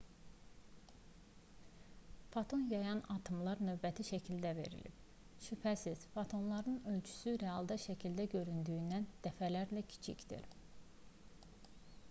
foton yayan atomlar növbəti şəkildə verilib şübhəsiz fotonların ölçüsü realda şəkildə göründüyündən dəfələrlə kiçikdir